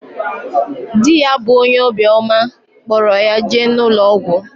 Di ya bu onye obi oma kporo ya jee na ulo ogwu.